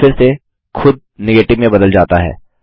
उत्तर फिर से खुद नेगेटिव में बदल जाता है